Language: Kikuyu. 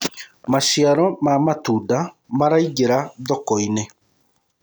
maciaro ma matunda maraingira thoko-inĩ